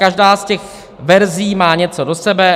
Každá z těch verzí má něco do sebe.